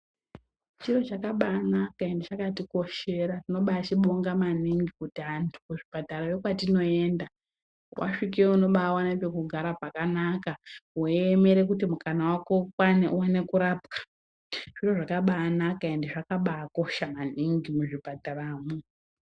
Chiro chakabanaka ende chakatikoshera tinobabonga maningi kuti antu kuzvipatara kwetinoenda wasvikayo unobaona pekugara pakanaka weiemera kuti mukana wako ukwane uwone kurapwa. Zviro zvakabanaka ende zvakabakosha muzvipataramwo.